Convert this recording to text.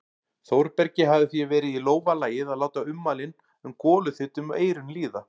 Þórbergi hefði því verið í lófa lagið að láta ummælin sem goluþyt um eyrun líða.